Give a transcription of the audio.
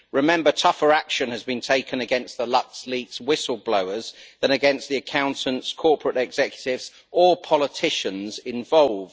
Remember, tougher action has been taken against the LuxLeaks whistle blowers, than against the accountants, corporate executives or politicians involved.